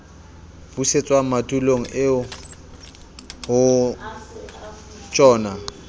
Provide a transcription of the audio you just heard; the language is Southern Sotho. busetswang madulong eo ho tjhona